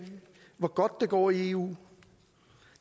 hvor godt det går i eu